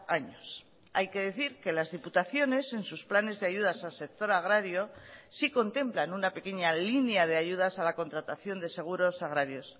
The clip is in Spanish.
años hay que decir que las diputaciones en sus planes de ayudas al sector agrario sí contemplan una pequeña línea de ayudas a la contratación de seguros agrarios